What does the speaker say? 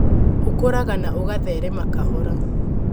ũkũraga na ũgatherema kahora.